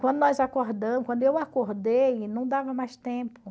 Quando nós acordamos, quando eu acordei, não dava mais tempo.